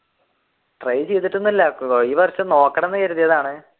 try ചെയ്തിട്ട് ഒന്നും ഇല്ല ഈ വര്ഷം നോക്കണെമെന്നു കരുതിയതാണ്